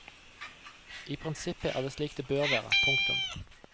I prinsippet er det slik det bør være. punktum